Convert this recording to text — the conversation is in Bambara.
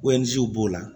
b'o la